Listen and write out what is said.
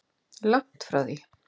Langt því frá.